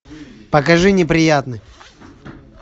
покажи неприятный